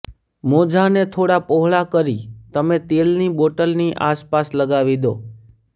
મોજાંને થોડાં પહોળા કરી તમે તેલની બોટલની આસપાસ લગાવી દો